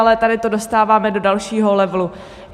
Ale tady to dostáváme do dalšího levelu.